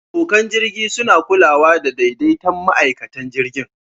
Abokan jirgi suna kulawa da daidaitan ma'aikatan jirgin.